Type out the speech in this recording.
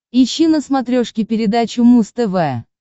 ищи на смотрешке передачу муз тв